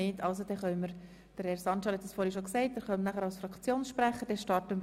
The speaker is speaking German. – Sie äussern sich anschliessend auch gleich als Fraktionssprechende.